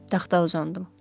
Taxta uzandım.